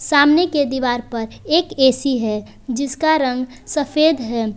सामने के दीवार पर एक ए_सी है जिसका रंग सफेद है।